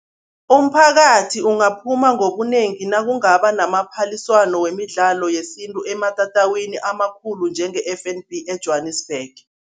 Umphakathi ungaphuma ngobunengi nakungaba namaphaliswano wemidlalo yesintu, ematatawini amakhulu njenge-F_N_B eJwanisbhege.